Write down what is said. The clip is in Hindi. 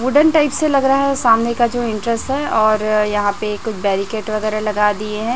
वुडन टाइप से लग रहा है सामने का जो इंटरेस्ट और यहां पर कुछ बैरीकेट वगैरा लगा दिए हैं।